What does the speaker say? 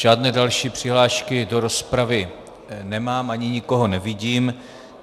Žádné další přihlášky do rozpravy nemám, ani nikoho nevidím.